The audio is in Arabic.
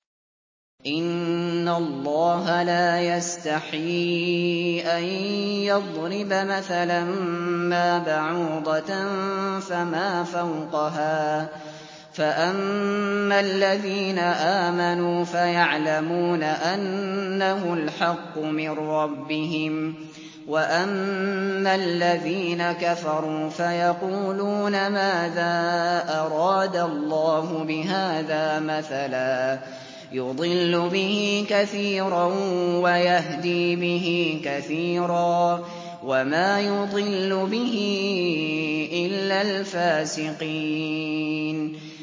۞ إِنَّ اللَّهَ لَا يَسْتَحْيِي أَن يَضْرِبَ مَثَلًا مَّا بَعُوضَةً فَمَا فَوْقَهَا ۚ فَأَمَّا الَّذِينَ آمَنُوا فَيَعْلَمُونَ أَنَّهُ الْحَقُّ مِن رَّبِّهِمْ ۖ وَأَمَّا الَّذِينَ كَفَرُوا فَيَقُولُونَ مَاذَا أَرَادَ اللَّهُ بِهَٰذَا مَثَلًا ۘ يُضِلُّ بِهِ كَثِيرًا وَيَهْدِي بِهِ كَثِيرًا ۚ وَمَا يُضِلُّ بِهِ إِلَّا الْفَاسِقِينَ